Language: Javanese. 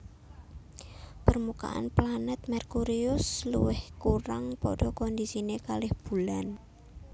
Permukaan planet Merkurius lewih kurang padha kondisine kalih Bulan